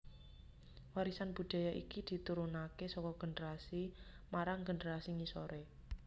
Warisan budaya iki diturunakè saka generasi marang generasi ngisorè